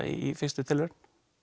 í fyrstu tilraun